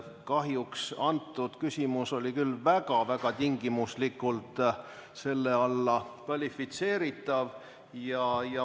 Kahjuks oli äsja esitatud küsimus küll väga tingimuslikult selle teema alla kvalifitseeritav.